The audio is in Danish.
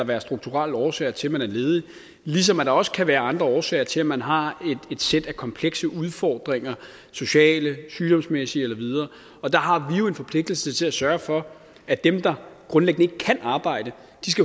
være strukturelle årsager til at man er ledig ligesom der også kan være andre årsager til at man har et sæt af komplekse udfordringer sociale sygdomsmæssige med videre og der har vi jo en forpligtelse til at sørge for at dem der grundlæggende ikke kan arbejde